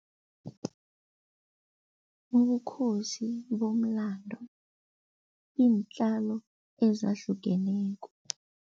Ubukhosi bomlando, iintjalo ezahlukeneko.